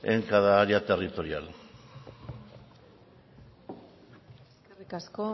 en cada área territorial eskerrik asko